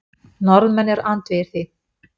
Norðmenn eru andvígir því.